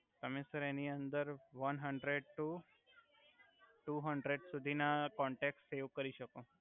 તમે સર એની અંદર one hundred to two hundred સુધિ ના કોંટેક સેવ કરી સકો